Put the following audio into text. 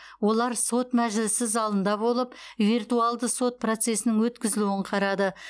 олар сот мәжілісі залында болып виртуалды сот процесінің өткізілуін қарады